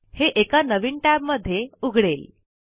हे एका नवीन टैब मध्ये उघडेल